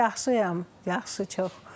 Yaxşıyam, yaxşı, çox.